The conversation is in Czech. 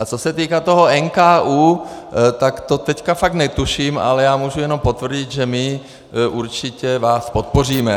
A co se týká toho NKÚ, tak to teď fakt netuším, ale já můžu jenom potvrdit, že my určitě vás podpoříme.